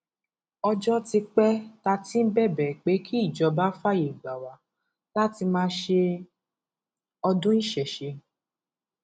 ọjọ ti pẹ tá a ti ń bẹbẹ pé kí ìjọba fààyè gbà wá láti máa ṣe ọdún ìṣẹṣẹ